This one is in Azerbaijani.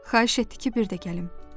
Xahiş etdi ki, bir də gəlim.